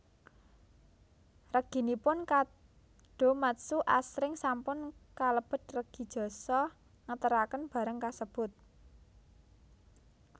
Reginipun kadomatsu asring sampun kalebet regi jasa ngeteraken barang kasebut